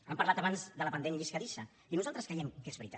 han parlat abans del pendent lliscadís i nosaltres creiem que és veritat